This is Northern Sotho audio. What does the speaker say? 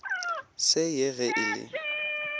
se ye ge e le